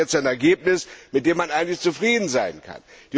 So haben wir jetzt ein Ergebnis, mit dem man eigentlich zufrieden sein kann.